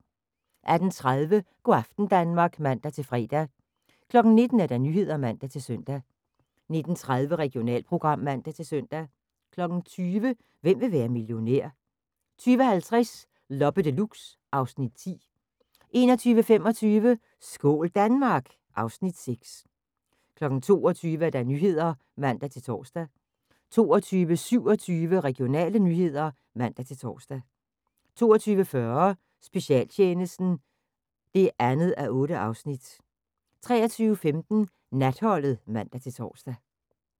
18:30: Go' aften Danmark (man-fre) 19:00: Nyhederne (man-søn) 19:30: Regionalprogram (man-søn) 20:00: Hvem vil være millionær? 20:50: Loppe Deluxe (Afs. 10) 21:25: Skål Danmark! (Afs. 6) 22:00: Nyhederne (man-tor) 22:27: Regionale nyheder (man-tor) 22:40: Specialtjenesten (2:8) 23:15: Natholdet (man-tor)